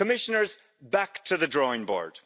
Commissioners, back to the drawing board.